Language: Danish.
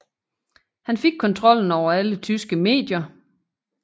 Han fik kontrollen over alle tyske medier